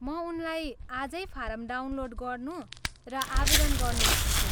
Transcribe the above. म उनलाई आजै फारम डाउनलोड गर्नू र आवेदन गर्नू भन्छु।